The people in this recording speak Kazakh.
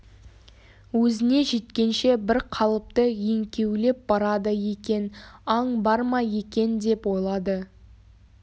өзіне жеткенше бір қалыпты еңкеулеп барады екен аң бар ма екен деп ойлады